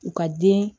U ka den